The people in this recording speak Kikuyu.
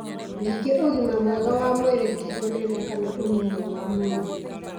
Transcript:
ningĩ ũgima mwega wa mwĩrĩ ti ũnene kana ũnini wa mwĩrĩ